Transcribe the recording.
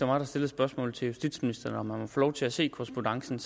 mig der stillede spørgsmålet til justitsministeren om man måtte få lov til at se korrespondancen